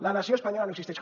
la nació espanyola no existeix